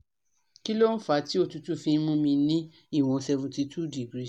Kí ló fà á tí òtútù fi n mu mi ni iwon 72 degrees?